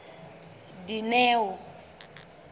dineo